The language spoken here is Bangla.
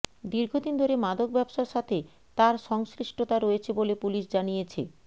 দীর্ঘদিন ধরে মাদক ব্যবসার সাথে তার সংশ্লিষ্টতা রয়েছে বলে পুলিশ জানিয়েছে